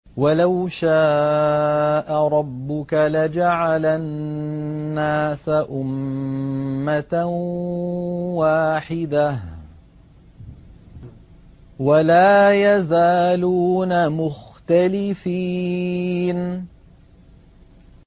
وَلَوْ شَاءَ رَبُّكَ لَجَعَلَ النَّاسَ أُمَّةً وَاحِدَةً ۖ وَلَا يَزَالُونَ مُخْتَلِفِينَ